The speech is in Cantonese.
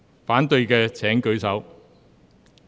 反對的請舉手。